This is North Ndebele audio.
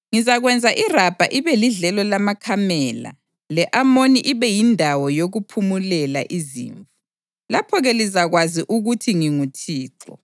Ngizakwenza iRabha ibe lidlelo lamakamela le-Amoni ibe yindawo yokuphumulela izimvu. Lapho-ke lizakwazi ukuthi nginguThixo.